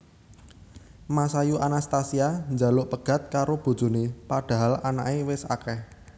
Masayu Anastasia njaluk pegat karo bojone padahal anake wes akeh